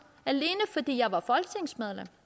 alene fordi jeg var folketingsmedlem